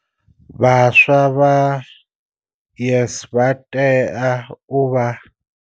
Vhaswa vha YES vha tea u vha.